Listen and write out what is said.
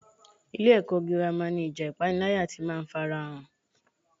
Ilé-ẹ̀kọ́ gírámà ni ìjà ipanilaya ti máa ń farahàn.